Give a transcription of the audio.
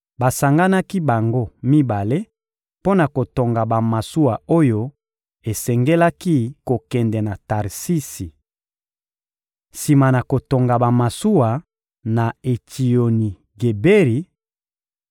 Basanganaki bango mibale mpo na kotonga bamasuwa oyo esengelaki kokende na Tarsisi. Sima na kotonga bamasuwa na Etsioni-Geberi,